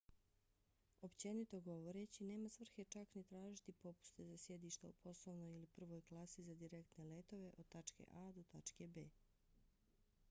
općenito govoreći nema svrhe čak ni tražiti popuste za sjedišta u poslovnoj ili prvoj klasi za direktne letove od tačke a to tačke b